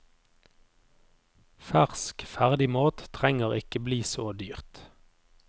Fersk ferdigmat trenger ikke bli så dyrt.